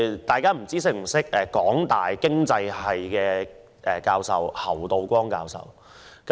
大家是否認識香港大學經濟金融學系侯道光教授？